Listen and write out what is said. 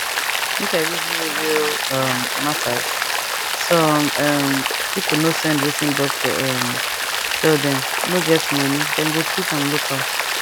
make i reason you real um matters some um people no send wertting doctor um tell dem no get money dem go treat am local